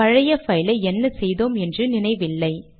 பழைய பைலை என்ன செய்தோம் என்று நினைவில்லை